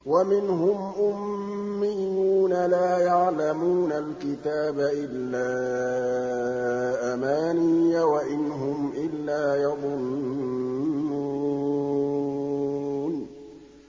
وَمِنْهُمْ أُمِّيُّونَ لَا يَعْلَمُونَ الْكِتَابَ إِلَّا أَمَانِيَّ وَإِنْ هُمْ إِلَّا يَظُنُّونَ